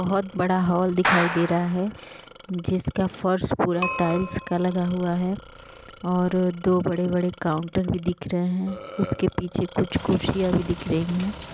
बहुत बड़ा हॉल दिखाई दे रहा है जिसका फर्श पूरा टाइल्स का लगा हुआ है और दो बड़े-बड़े काउंटर भी दिख रहे है उसके पीछे कुछ कुर्सियां भी दिख रही है।